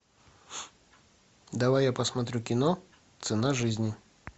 давай я посмотрю кино цена жизни